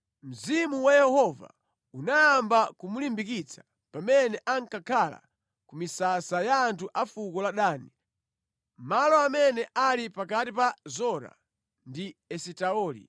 Mzimu wa Yehova unayamba kumulimbikitsa pamene ankakhala ku misasa ya anthu a fuko la Dani, malo amene anali pakati pa Zora ndi Esitaoli.